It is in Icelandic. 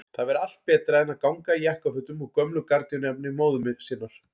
Það væri allt betra en að ganga í jakkafötum úr gömlu gardínuefni móður sinnar!